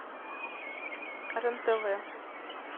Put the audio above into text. рентв